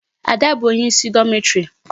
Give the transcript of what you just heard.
Ada bụ onye isi dormitory.